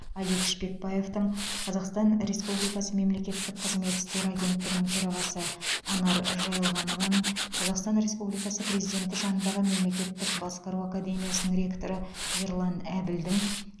алик шпекбаевтың қазақстан республикасы мемлекеттік қызмет істері агенттігінің төрағасы анар жайылғанованың қазақстан республикасы президенті жанындағы мемлекеттік басқару академиясының ректоры ерлан әбілдің